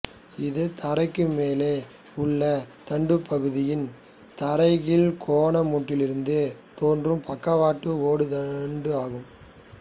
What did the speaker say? இது தரைக்கு மேலே உள்ள தண்டுபகுதியின் தரைகீழ்கோணமொட்டிலிருந்து தோன்றும் பக்கவாட்டு ஓடு தண்டு ஆகும்